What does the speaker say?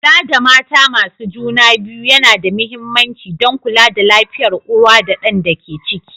Kula da mata masu juna biyu yana da mahimmanci don kula da lafiyar uwa da ɗan da ke ciki.